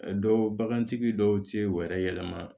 A dɔw bagantigi dɔw ti u yɛrɛ yɛlɛma